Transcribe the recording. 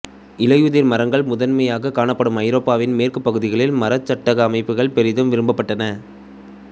இலையுதிர் மரங்கள் முதன்மையாகக் காணப்படும் ஐரோப்பாவின் மேற்குப் பகுதிகளில் மரச் சட்டக அமைப்புக்களே பெரிதும் விரும்பப்பட்டன